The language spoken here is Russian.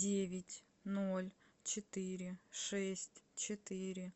девять ноль четыре шесть четыре